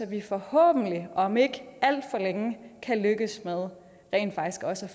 vi forhåbentlig om ikke alt for længe kan lykkes med rent faktisk også at